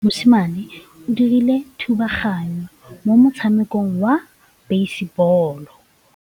Mosimane o dirile thubaganyô mo motshamekong wa basebôlô.